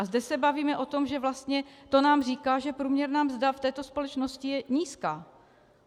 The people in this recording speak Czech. A zde se bavíme o tom, že vlastně to nám říká, že průměrná mzda v této společnosti je nízká.